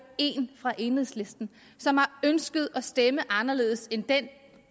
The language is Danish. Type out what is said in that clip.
én fra enhedslisten som har ønsket at stemme anderledes end den